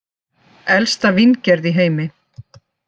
Elsta víngerð í heimi